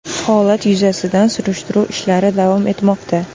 Holat yuzasidan surishtiruv ishlari davom etmoqda.